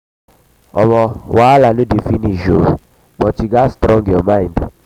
wahala no dey finish but you gats strong your mind.